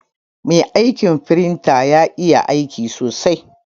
Mai aiƙin firinta ƴa iƴa aiƙi sosai.